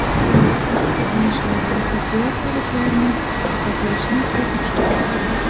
asossiz hibsga olishlar va efiopiyaliklarni azoblashni o‘z ichiga olgan.